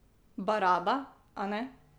Baraba, a ne.